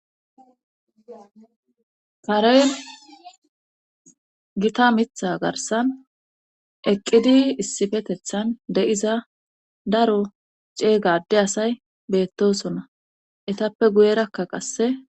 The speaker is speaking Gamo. pareen gita mitha garsan eqqidi issifetethan de7iza daro ceega ade asay beettosona etappe guyerakka qasse.